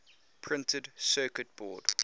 printed circuit board